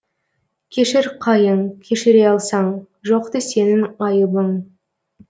кешір қайың кешіре алсаң жоқты сенің айыбың